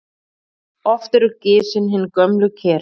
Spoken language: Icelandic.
Oft eru gisin hin gömlu ker.